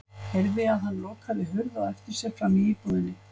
Heyrði að hann lokaði hurð á eftir sér frammi í íbúðinni.